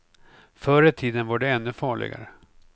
Förr i tiden var det ännu farligare.